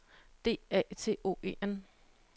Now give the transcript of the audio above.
D A T O E N